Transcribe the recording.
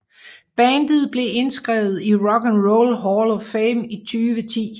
Bandet blev indskrevet i Rock and Roll Hall of Fame i 2010